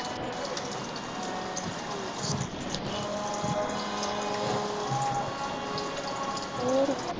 ਹੋਰ